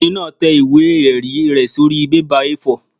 Ọkùnrin náà tẹ ìwé-ẹ̀rí rẹ̀ sórí bébà A4